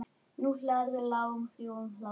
Nú hlærðu, lágum hrjúfum hlátri.